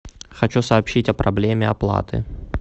хочу сообщить о проблеме оплаты